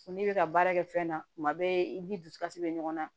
Fo n'i bɛ ka baara kɛ fɛn na kuma bɛɛ i ni dusukasi bɛ ɲɔgɔn na